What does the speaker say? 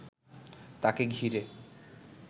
তাকে ঘিরে